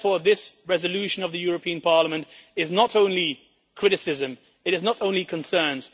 Therefore, this resolution of the European Parliament is not only criticism, it is not only concerns